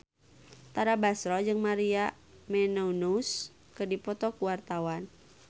Tara Basro jeung Maria Menounos keur dipoto ku wartawan